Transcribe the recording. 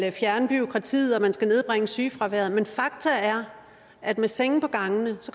fjerne bureaukratiet og at man skal nedbringe sygefraværet men fakta er at med senge på gangene